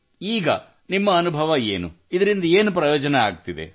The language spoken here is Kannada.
ಈಗ ನಿಮ್ಮ ಅನುಭವವೇನು ಇದರಿಂದ ಏನು ಪ್ರಯೋಜನವಾಗುತ್ತಿದೆ